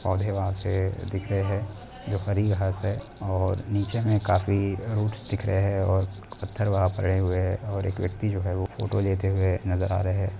पौधे वहाँ से दिख रहे है जो हरी घास है और नीचे में काफी रूट्स दिख रहे है और पत्थर वहाँ पड़े हुए है और एक व्यक्ति जो है वो फोटो लेते हुए नज़र आ रहे हैं।